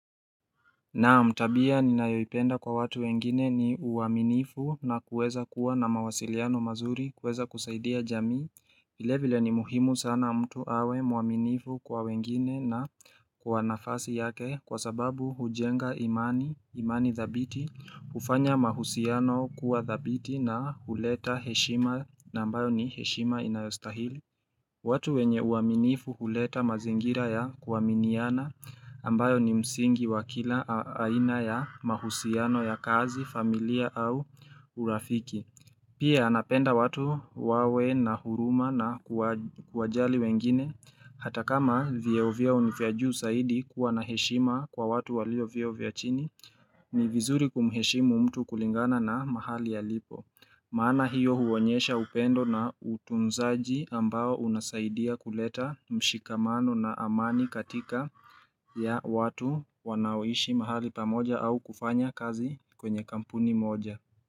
Naam tabia ninayoipenda kwa watu wengine ni uaminifu na kuweza kuwa na mawasiliano mazuri, kuweza kusaidia jamii. Vile vile ni muhimu sana mtu awe mwaminifu kwa wengine na kwa nafasi yake kwa sababu hujenga imani, imani thabiti, hufanya mahusiano kuwa thabiti na huleta heshima na ambayo ni heshima inayostahili. Watu wenye uaminifu huleta mazingira ya kuaminiana ambayo ni msingi wa kila aina ya mahusiano ya kazi, familia au urafiki. Pia napenda watu wawe na huruma na kuwajali wengine hata kama vyeo vyao ni vya juu zaidi kuwa na heshima kwa watu walio vyeo vya chini, ni vizuri kumheshimu mtu kulingana na mahali alipo. Maana hiyo huonyesha upendo na utunzaji ambao unasaidia kuleta mshikamano na amani katika ya watu wanaoishi mahali pamoja au kufanya kazi kwenye kampuni moja.